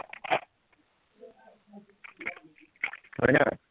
হয় ন